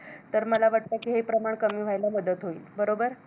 तर मला वाटतं कि हे प्रमाण कमी व्हायला मदत होईल, बरोबर?